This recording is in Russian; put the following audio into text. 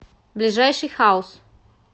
ближайший хаус